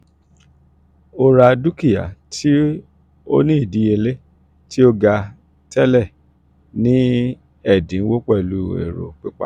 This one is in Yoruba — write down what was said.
o ra dukia ti o ni idiyele ti o ga tẹlẹ ni ẹdinwo pẹlu ero pipa.